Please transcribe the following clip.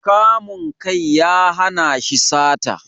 Kamun kai ya hana shi sata